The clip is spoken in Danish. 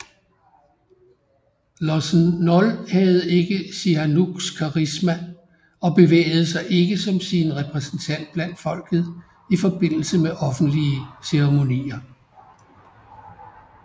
Lossen Nol havde ikke Sihanouks karisma og bevægede sig ikke som sin repræsentant blandt folket i forbindelse med offentlige ceremonier